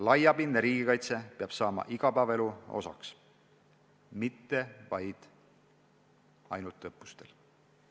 Laiapindne riigikaitse peab saama igapäevaelu osaks, mitte vaid ainult õppustel.